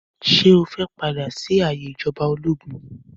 Ṣé ẹ fẹ́ padà sí ayé ìjọba ológun?